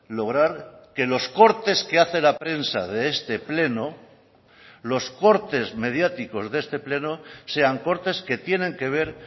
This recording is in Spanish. lograr que los cortes que hace la prensa de este pleno los cortes mediáticos de este pleno sean cortes que tienen que ver